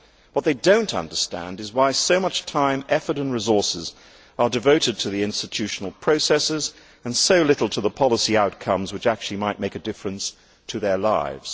What they do not understand is why so much time, effort and resources are devoted to the institutional processes and so little to the policy outcomes which actually might make a difference to their lives.